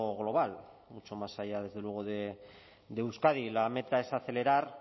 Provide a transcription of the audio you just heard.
global mucho más allá desde luego de euskadi la meta es acelerar